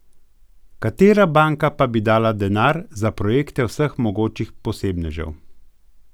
Katera banka pa bi dala denar za projekte vseh mogočih posebnežev?